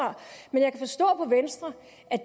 på venstre